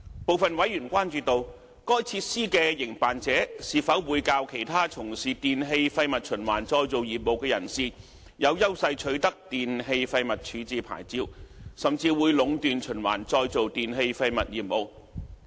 部分委員關注到，該設施的營辦者是否會較其他從事電器廢物循環再造業務的人士，更有優勢取得電器廢物處置牌照，甚至會壟斷循環再造電器廢物業務。